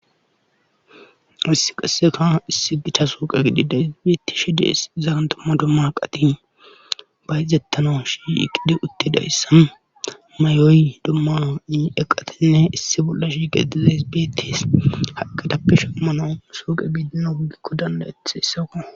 Issi qasseka issi gita suuqe gidi da hisibeetishi dees zaan dumma dumma qati bayzettano shi iqide utti dayssan mayoy dumma eqatinne issi bolla shigadiza hisbeettis haqqadappeshamano suuqe biidina wugikko dandayeth hissaokona.